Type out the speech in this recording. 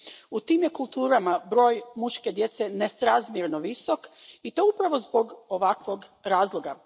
U tim je kulturama broj muške djece nesrazmjerno visok i to upravo zbog ovakvog razloga.